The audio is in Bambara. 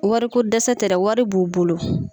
Wariko dɛsɛ tɛ dɛ wari b'u bolo.